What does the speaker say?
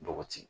Bɔgɔti